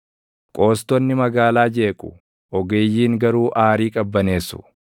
Qoostonni magaalaa jeequ; ogeeyyiin garuu aarii qabbaneessu.